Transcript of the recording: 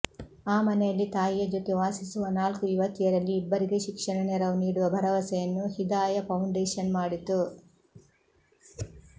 ಆ ಮನೆಯಲ್ಲಿ ತಾಯಿಯ ಜೊತೆ ವಾಸಿಸುವ ನಾಲ್ಕು ಯುವತಿಯರಲ್ಲಿ ಇಬ್ಬರಿಗೆ ಶಿಕ್ಷಣ ನೆರವು ನೀಡುವ ಭರವಸೆಯನ್ನು ಹಿದಾಯ ಪೌಂಡೇಶನ್ ಮಾಡಿತು